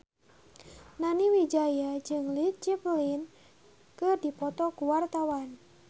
Nani Wijaya jeung Led Zeppelin keur dipoto ku wartawan